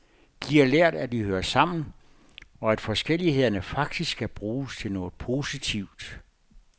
De har lært, at de hører sammen, og at forskellighederne faktisk kan bruges til noget positivt.